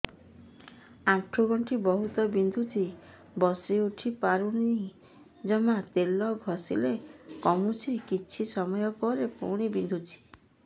ଆଣ୍ଠୁଗଣ୍ଠି ବହୁତ ବିନ୍ଧୁଛି ବସିଉଠି ପାରୁନି ଜମା ତେଲ ଘଷିଲେ କମୁଛି କିଛି ସମୟ ପରେ ପୁଣି ବିନ୍ଧୁଛି